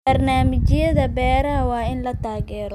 Barnaamijyada beeraha waa in la taageero.